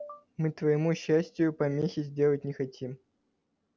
мы твоему счастию помехи сделать не хотим